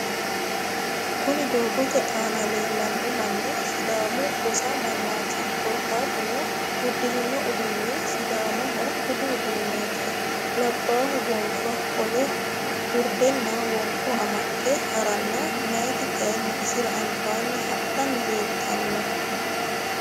Kuni doogote aana leellanno manni Sidaamu Gosa mannaati. Korkaatuno udirino uduunni Sidaamaho budu uduneeti. Labbahu gonfa qole urdenna wonqo amaxxe haranna meyat kayinni isira albaanni hadhanni leeltanno.